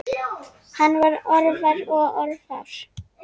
Hann var orðvar og orðfár.